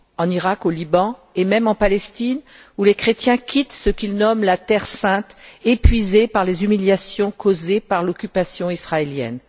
En Irak, au Liban, et même en Palestine, où les chrétiens quittent ce qu'ils nomment la terre sainte, épuisés par les humiliations causées par l'occupation israélienne.